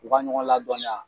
U ka ɲɔgɔn ladɔniya